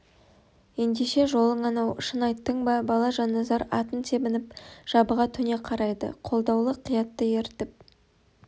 ендеше жолың анау шын айттың ба бала жанназар атын тебініп жабыға төне қарайды қолдаулы қиятты ертіп